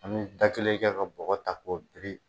A bɛ da kelen kɛ ka bɔgɔ ta ko biri.